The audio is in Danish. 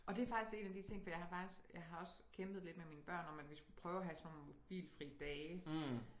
Og det er faktisk en af de ting for jeg har faktisk jeg har også kæmpet lidt med mine børn om at vi skulle prøve at have sådan nogle mobilfrie dage